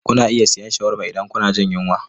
Kuna iya siyan shawarma idan kuna jin yunwa.